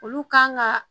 Olu kan ga